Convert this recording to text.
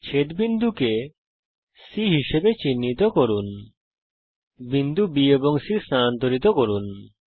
ছেদ বিন্দুকে C হিসাবে চিহ্নিত করুন বিন্দু B এবং C কে স্থানান্তরিত করুন